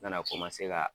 Nana ka